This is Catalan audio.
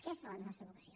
aquesta és la nostra vocació